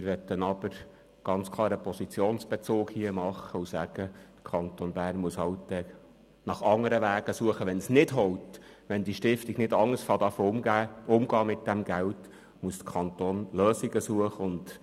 Wir möchten aber ganz klar Position beziehen und kundtun, dass der Kanton Bern nach anderen Wegen suchen muss, wenn die Stiftung nicht bereit ist, mit den Geldern anders umzugehen.